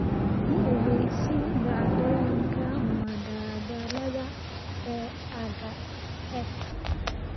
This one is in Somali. i ogeysii dhacdooyinka madadaalada ee aagga xeebta